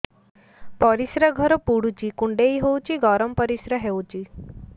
ପରିସ୍ରା ଘର ପୁଡୁଚି କୁଣ୍ଡେଇ ହଉଚି ଗରମ ପରିସ୍ରା ହଉଚି